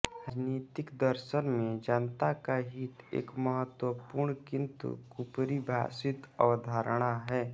राजनीतिक दर्शन में जनता का हित एक महत्वपूर्ण किन्तु कुपरिभाषित अवधारणा है